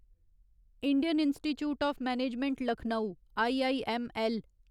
Indian Institute of Management Lucknow IIML